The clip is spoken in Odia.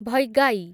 ଭୈଗାଇ